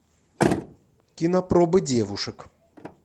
кинопробы девушек